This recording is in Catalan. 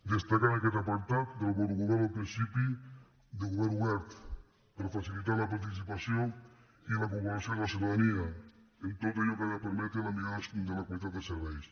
destacar en aquest apartat del bon govern el principi de govern obert per facilitar la participació i la incorporació de la ciutadania en tot allò que ha de permetre la millora de la qualitat dels serveis